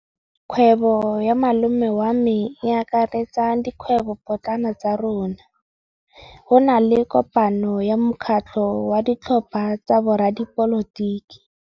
Kgwêbô ya malome wa me e akaretsa dikgwêbôpotlana tsa rona. Go na le kopanô ya mokgatlhô wa ditlhopha tsa boradipolotiki.